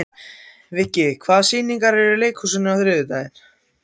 Viggi, hvaða sýningar eru í leikhúsinu á þriðjudaginn?